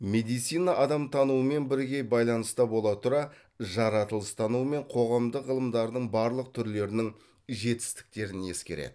медицина адамтануымен бірге байланыста бола тұра жаратылыстану мен қоғамдық ғылымдардың барлық түрлерінің жетістіктерін ескереді